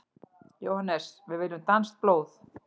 JÓHANNES: Við viljum danskt blóð!